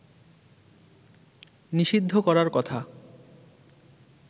নিষিদ্ধ করার কথা